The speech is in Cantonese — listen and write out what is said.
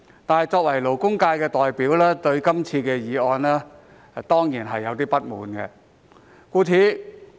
但是，作為勞工界的代表，我對這項議案當然感到不滿。